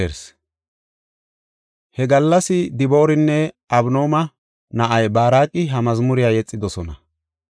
He gallas Dibooranne Abinooma na7ay Baaraqi ha mazmuriya yexidosona.